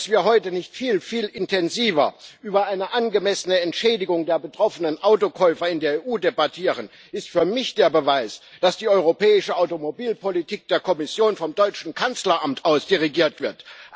Dass wir heute nicht viel, viel intensiver über eine angemessene Entschädigung der betroffenen Autokäufer in der EU debattieren, ist für mich der Beweis, dass die europäische Automobilpolitik der Kommission vom deutschen Kanzleramt aus dirigiert wird.